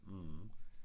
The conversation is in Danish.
Mh